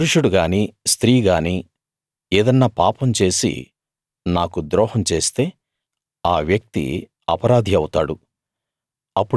పురుషుడు గానీ స్త్రీ గానీ ఏదన్నా పాపం చేసి నాకు ద్రోహం చేస్తే ఆ వ్యక్తి అపరాధి అవుతాడు